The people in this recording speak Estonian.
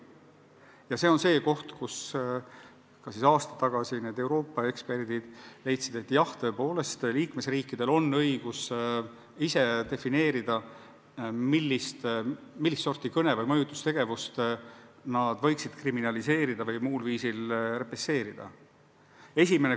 Ja see on see koht, kus aasta tagasi need Euroopa eksperdid leidsid, et jah, tõepoolest liikmesriikidel on õigus ise otsustada, millist sorti kõne või muu mõjutustegevuse nad võiksid kriminaliseerida või selle eest muul viisil karistada.